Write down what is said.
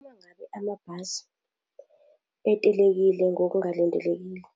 Uma ngabe amabhasi etelekile ngokungalindelekile,